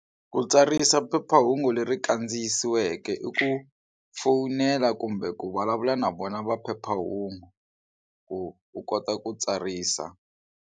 Ku tsarisa phephahungu leri kandziyisiweke i ku fowunela kumbe ku vulavula na vona va phephahungu ku u kota ku tsarisa.